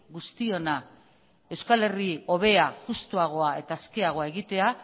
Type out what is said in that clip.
guztiona euskal herri hobea justuagoa eta askeagoa egitea